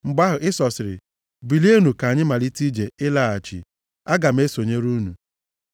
Mgbe ahụ, Ịsọ sịrị, “Bilienụ ka anyị malite ije ịlaghachi. Aga m esonyere unu.”